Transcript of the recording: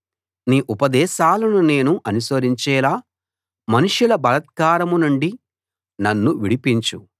నీ ఉపదేశాలను నేను అనుసరించేలా మనుష్యుల బలాత్కారం నుండి నన్ను విడిపించు